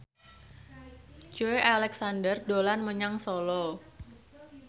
Joey Alexander dolan menyang Solo